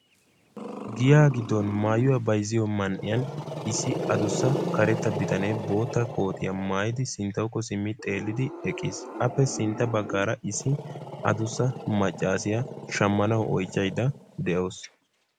giyaa giddon maayuwa bayzziyo man'iyan issi adusa karetta bitanee bootta koottiya maayidi sintawukko simmi xeelid eqqiis appe sinta bagaaara issi adussa macaassiya shamanawu oychaydda de'awusu.